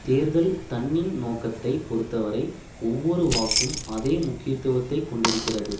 தேர்தல் தன்னின் நோக்கத்தைப் பொருத்தவரை ஒவ்வொரு வாக்கும் அதே முக்கியத்துவத்தை கொண்டிருக்கிறது